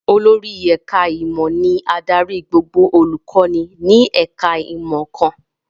Olórí ẹ̀ká ìmọ̀ ni adarí gbogbo olùkọ́ni ní ẹ̀ká ìmọ̀ kan